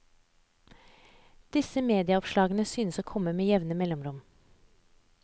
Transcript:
Disse medieoppslag synes å komme med jevne mellomrom.